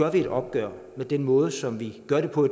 et opgør med den måde som vi gør det på